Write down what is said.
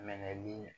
Mɛli